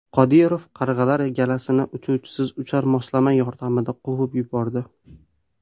Qodirov qarg‘alar galasini uchuvchisiz uchar moslama yordamida quvib yubordi .